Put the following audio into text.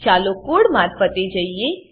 ચાલો કોડ મારફતે જઈએ